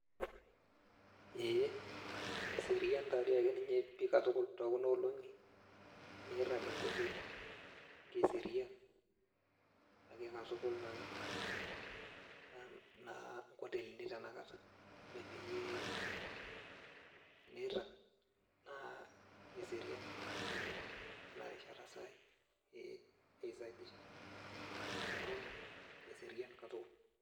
Ee, keserian tadi akeninye pi katukul, tokuna olong'i, enirrag enkoteli. Keserian, ake katukul naa nkotelini tanakata. Ore peyie tenirrag, naa eserian pi nkotelini enarishata sai, ee eisaidisha, ee metorrono, eserian katukul.